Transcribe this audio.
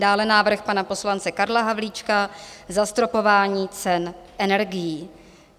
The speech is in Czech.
Dále návrh pana poslance Karla Havlíčka - Zastropování cen energií.